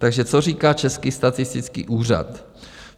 Takže co říká Český statistický úřad?